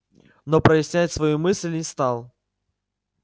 но прояснять свою мысль не стал